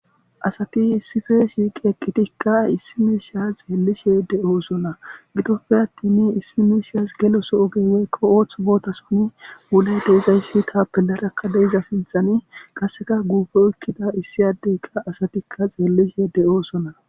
Asati issipe shiiqidi eqidikka issi misha xelishe de'osona gidope atinne issi mishas geloso oge woyko othoso botani wuday de'izaydikka bollara de'za sinthazan qaseka gufe oykida issi ade astikka xelishe de'osona